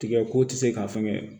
Tigɛ ko tɛ se k'a fɛngɛ